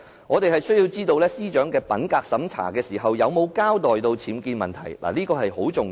我們需要知道司長在品格審查中有沒有交代其物業僭建的問題，這點十分重要。